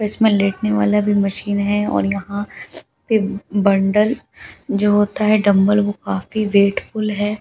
इसमे लेटने वाला भी मशीन है और यहाँ पे बन्डल जो होता है ड़म्बल वो काफ़ी वेटफूल है जो --